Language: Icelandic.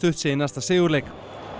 sé í næsta sigurleik